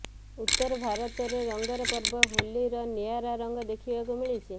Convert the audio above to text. ଉତ୍ତର ଭାରତରେ ରଙ୍ଗର ପର୍ବ ହୋଲିର ନିଆରା ରଙ୍ଗ ଦେଖିବାକୁ ମିଳିଛି